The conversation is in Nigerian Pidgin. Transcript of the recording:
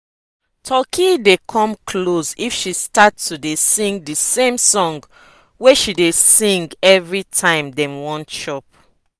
turkey dey come close if she start to dey sing di same song wey she dey sing every time dem wan chop.